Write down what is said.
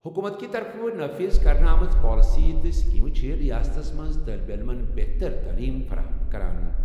حکوٗمتٕکہِ طرفہٕ نافذ کرنہٕ آمژٕ پالیسِیہِ تہٕ سکیمہٕ چھِ رِیاستَس منٛز طٲلب علمَن بہتر تٔعلیٖم فراہم کران۔